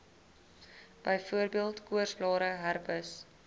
byvoorbeeld koorsblare herpes